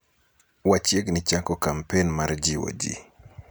wachiegni chako kampen mar jiwo jii